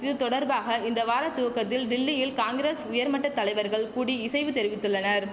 இது தொடர்பாக இந்த வார துவக்கத்தில் டில்லியில் காங்கிரஸ் உயர்மட்ட தலைவர்கள் கூடி இசைவு தெரிவித்துள்ளனர்